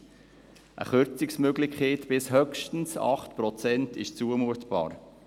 Eine Kürzungsmöglichkeit bis höchstens 8 Prozent ist zumutbar.